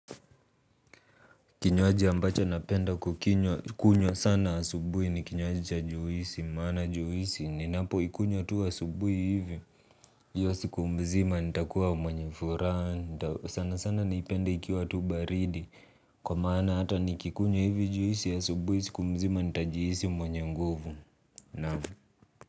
Kinywaji ambacho napenda kukinywa, kunywa sana asubuhi ni kinywaji cha juisi, maana juisi, ninapoikunywa tu asubuhi hivi. Hio siku mzima nitakuwa mwenye furaha, sana sana naipende ikiwa tu baridi, kwa maana hata nikikunywa hivi juisi ya asubuhi, siku mzima nitajihisi mwenye nguvu naam.